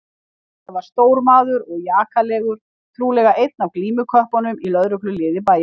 Þetta var stór maður og jakalegur, trúlega einn af glímuköppunum í lögregluliði bæjarins.